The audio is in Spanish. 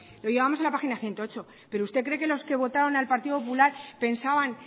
lo llevamos en la página ciento ocho pero usted cree que los que votaron al partido popular pensaban